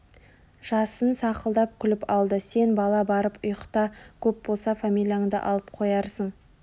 жасын сақылдап күліп алды сен бала барып ұйықта көп болса фамилияңды алып қоярсың